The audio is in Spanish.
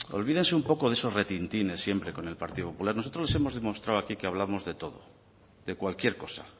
olvídense un poco de esos retintines siempre con el partido popular nosotros les hemos demostrado aquí que hablamos de todo de cualquier cosa